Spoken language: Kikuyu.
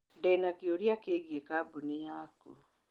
Ndĩ na kĩũria kĩgiĩ kambuni yaku